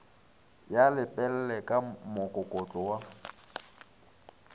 ya lepelle ka mokokotlo wa